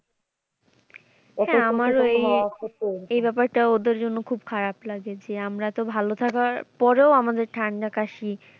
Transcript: হ্যাঁ আমারও এই ব্যাপারটা ওদের জন্য খুব খারাপ লাগে যে আমরা তো ভালো থাকা পরেও আমাদের ঠান্ডা কাশি